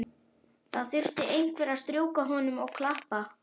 Það þurfti einhver að strjúka honum og klappa.